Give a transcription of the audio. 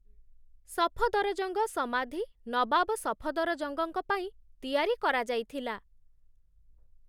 ସଫଦରଜଙ୍ଗ ସମାଧି ନବାବ ସଫଦରଜଙ୍ଗଙ୍କ ପାଇଁ ତିଆରି କରାଯାଇଥିଲା।